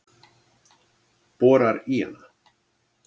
Borar í hana.